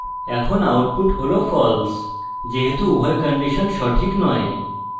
এখন output হল false যেহেতু উভয় কন্ডিশন সঠিক নয়